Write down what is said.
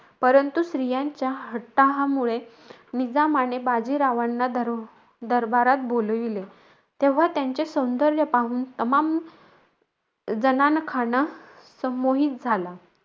परंतु स्त्रीयांच्या हट्टाहामुळे, निजामाने बाजीरावांना दरबारात बोलावले. तेव्हा त्यांचे सौंदर्य पाहून तमाम जनानखाना संमोहीत झाला.